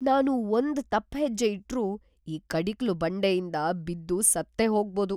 ನಾನು ಒಂದ್ ತಪ್ಪ್ ಹೆಜ್ಜೆ ಇಟ್ರೂ ಈ ಕಡಿಕಲು ಬಂಡೆಯಿಂದ ಬಿದ್ದು ಸತ್ತೇ ಹೋಗ್ಬೋದು.